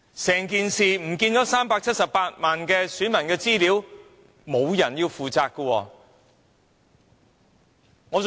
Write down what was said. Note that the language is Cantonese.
這378萬名選民的資料非常重要。